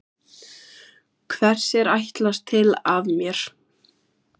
Hvers er ætlast til af mér?